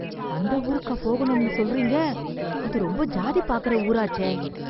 அந்த ஊருக்காப் போகணும்னு சொல்றீங்க. அது ரொம்ப ஜாதி பாக்குற ஊராச்சே.